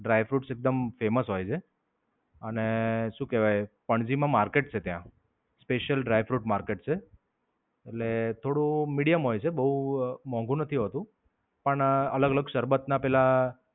Dry fruits એકદમ famous હોય છે. અને શું કહેવાય પંજીમાં market છે ત્યાં. Special Dry Fruit Market છે. એટલે થોડું medium હોય છે બોવ મોંઘુ નથી હોતું. પણ અલગ-અલગ શરબત ના પેલા